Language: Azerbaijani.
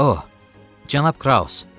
Oh, cənab Kraus.